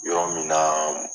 Yɔrɔ min na